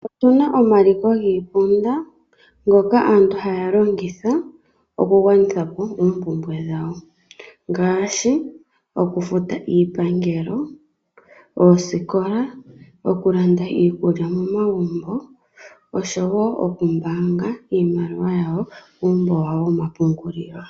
Otu na omaliko giiponda ngoka aantu haya longitha okugwanitha po oompumbwe dhawo, ngashi okufuta iipangelo, oosikola, okulanda iikulya momagumbo oshowo oku mbaanga iimaliwa yawo kuumbo wawo woma pungulilo.